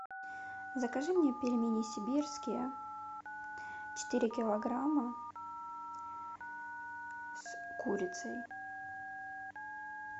закажи мне пельмени сибирские четыре килограмма с курицей